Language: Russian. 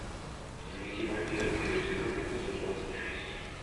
дневники вампира первый сезон эпизод двадцать шесть